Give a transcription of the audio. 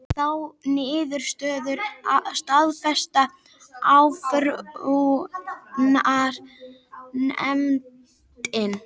Þá niðurstöðu staðfesti áfrýjunarnefndin